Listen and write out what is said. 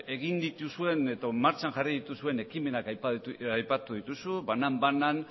egin dituzuen edo martxan jarri dituzuen ekimenak aipatu dituzu banan bana